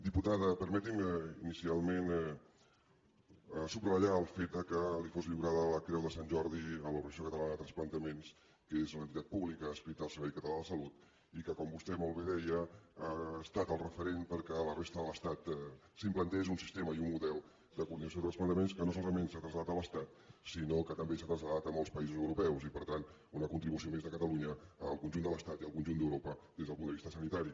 diputada permeti’m inicialment subratllar el fet que li fos lliurada la creu de sant jordi a l’organització catalana de trasplantaments que és una entitat pública adscrita al servei català de la salut i que com vostè molt bé deia ha estat el referent perquè a la resta de l’estat s’implantés un sistema i un model de coordinació de trasplantaments que no solament s’han traslladat a l’estat sinó que també s’han traslladat a molts països europeus i per tant una contribució més de catalunya al conjunt de l’estat i al conjunt d’europa des del punt de vista sanitari